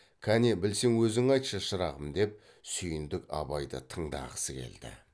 кәне білсең өзің айтшы шырағым деп сүйіндік абайды тыңдағысы келді